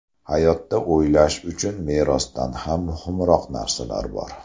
Hayotda o‘ylash uchun merosdan ham muhimroq narsalar bor.